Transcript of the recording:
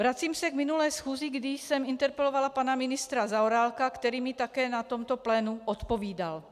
Vracím se k minulé schůzi, kdy jsem interpelovala pana ministra Zaorálka, který mi také na tomto plénu odpovídal.